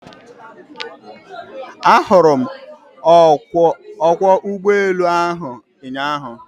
Ahụrụ m ọkwọ ụgbọelu ahụ ụnyaahụ.